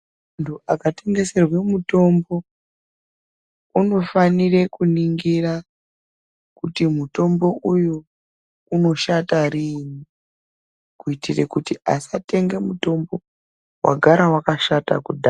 Mundu akatengeserwe mutombo unofanire kuningira kuti mutombo uyu unoshata riini kuitira kuti asatenge mutombo wagara wakashata kudhaya.